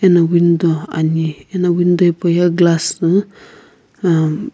eno window ani ena window hipau ye glass na uhm--